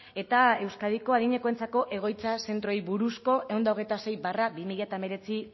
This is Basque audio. eta euskadiko adinekoentzako egoitza zentroei buruzko ehun eta hogeita sei barra bi mila hemeretzi